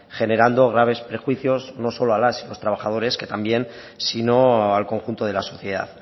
generando graves prejuicios no solo a las y los trabajadores que también sino al conjunto de la sociedad